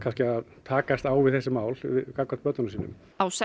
takast á við þessi mál gagnvart börnunum sínum á